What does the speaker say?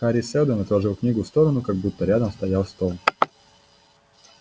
хари сэлдон отложил книгу в сторону как будто рядом стоял стол